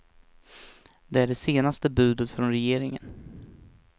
Det är det senaste budet från regeringen.